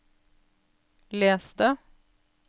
les det